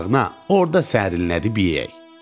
orda da sərinlədib yeyək.